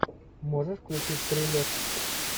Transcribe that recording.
можешь включить триллер